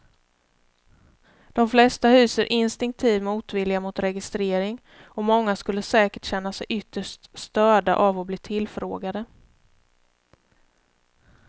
De flesta hyser instinktiv motvilja mot registrering och många skulle säkert känna sig ytterst störda av att bli tillfrågade.